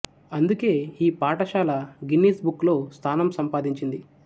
అందుకే ఈ పాఠశాల గిన్నీస్ బుక్ లో స్థానం సంపాదించింది